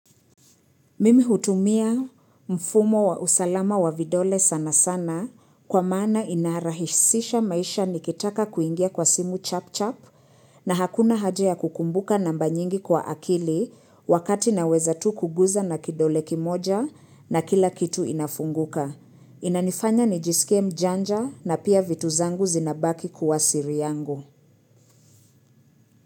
Mimi hutumia mfumo wa usalama wa vidole sana sana kwa maana inarahisisha maisha nikitaka kuingia kwa simu chap chap na hakuna haja ya kukumbuka namba nyingi kwa akili wakati naweza tu kuguza na kidole kimoja na kila kitu inafunguka. Inanifanya nijisikie mjanja na pia vitu zangu zinabaki kuwa siri yangu.